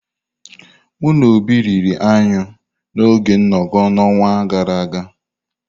Mụ na Obi riri anyụ n'oge nnoko n'ọnwa gara aga.